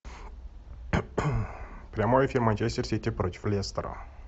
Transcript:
прямой эфир манчестер сити против лестера